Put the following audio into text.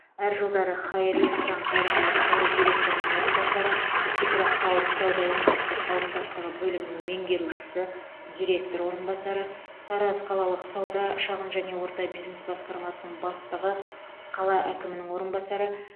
әр жылдары хаир ихсан қайырымдылық қоры директорының орынбасары тигро хауд сауда өндірістік қауымдастығы бөлімінің меңгерушісі директор орынбасары тараз қалалық сауда шағын және орта бизнес басқармасының бастығы қала әкімінің орынбасары